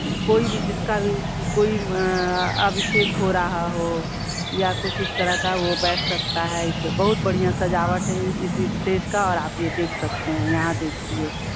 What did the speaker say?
कोई भी जिसका भी की कोई अअ अभिषेक हो रहा हो या कुछ इस तरह का वो बैठ सकता है इस बहुत बढ़िया सजावट इस स्टेज का और आप ये देख सकते हैं। यहाँ देखिये --